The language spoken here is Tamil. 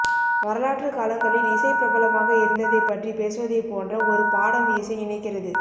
வரலாற்று காலங்களில் இசை பிரபலமாக இருந்ததைப் பற்றி பேசுவதைப் போன்ற ஒரு பாடம் இசை இணைக்கிறது